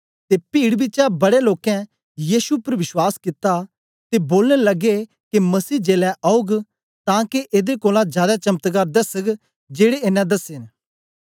ते पीड़ बिचा बड़े लोकें यीशु उपर विश्वास कित्ता ते बोलन लगे के मसीह जेलै औग तां के एदे कोलां जादै चमत्कार दसग जेड़े एनें दसे ने